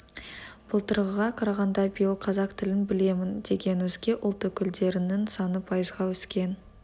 былтырғыға қарағанда биыл қазақ тілін білемін деген өзге ұлт өкілдерінің саны пайызға өскен